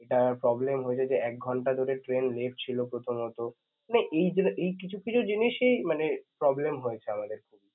যেটা problem হয়ে যদি এক ঘণ্টা ধরে train late ছিল প্রথমত মানে এইগুলো এই কিছুকিছু জিনিসই মানে problem হয়েছে আমাদের